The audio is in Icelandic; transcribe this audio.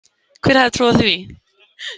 Hver hefði trúað því?